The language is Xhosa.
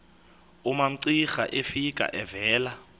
umamcira efika evela